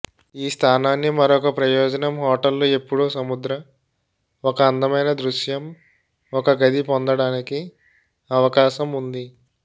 ఈ స్థానాన్ని మరొక ప్రయోజనం హోటళ్లు ఎల్లప్పుడూ సముద్ర ఒక అందమైన దృశ్యం ఒక గది పొందడానికి అవకాశం ఉంది